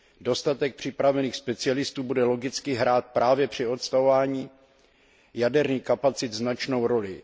Dostatek připravených specialistů bude logicky hrát právě při odstavování jaderných elektráren značnou roli.